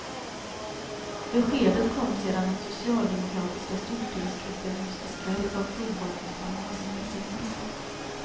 Beskedet kom sedan den socialdemokratiska stortingsgruppen i onsdags kväll gav provborrningsplanerna sin välsignelse.